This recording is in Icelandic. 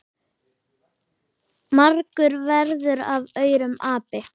margur verður af aurum api.